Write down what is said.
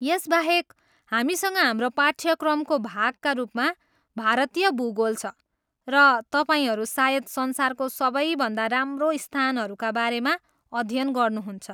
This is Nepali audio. यसबाहेक, हामीसँग हाम्रो पाठ्यक्रमको भागका रूपमा भारतीय भूगोल छ, र तपाईँहरू सायद संसारको सबैभन्दा राम्रो स्थानहरूका बारेमा अध्ययन गर्नुहुन्छ!